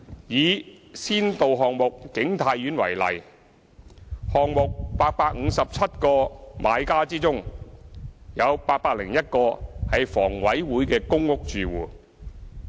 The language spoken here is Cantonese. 以先導項目景泰苑為例，項目857個買家之中，有801個為房委會的公屋住戶。